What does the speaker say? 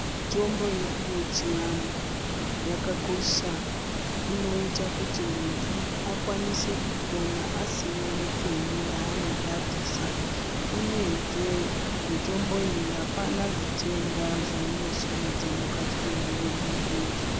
Mutombo yedu yechianhu yakakosha. Inoita kuti muntu akwanise kupona asina nepeni raanenge abvisa, uyezve mitomboyi apana zvitenda zvainosumudza mukati mwemuviri mwemuntu.